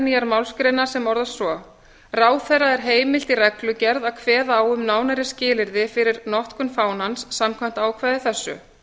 nýjar málsgreinar sem orðast svo ráðherra er heimilt í reglugerð að kveða á um nánari skilyrði fyrir notkun fánans samkvæmt ákvæði þessu